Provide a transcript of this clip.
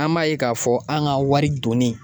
An b'a ye k'a fɔ an ka wari donni